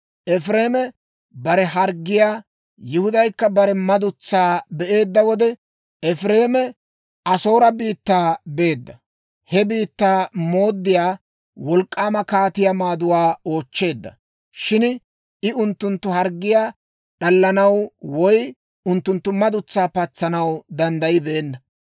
«Efireeme bare harggiyaa, Yihudaykka bare madutsaa be'eedda wode, Efireeme Asoore biittaa beedda; he biittaa mooddiyaa wolk'k'aama kaatiyaa maaduwaa oochcheedda. Shin I unttunttu harggiyaa d'allanaw woy unttunttu madutsaa patsanaw danddayibeenna.